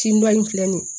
Tin dɔ in filɛ nin ye